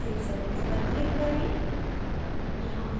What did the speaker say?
अब save settings पर click करें